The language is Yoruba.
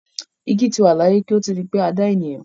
Igi ti wà láyé kí ó tó di pé a dá ènìyàn.